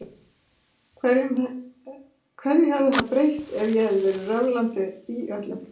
Hverju hefði það breytt ef ég hefði verið röflandi í öllum?